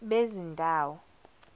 bezindawo